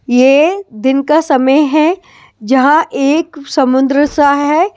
ये दिन का समय है जहां एक समुंद्र सा है ।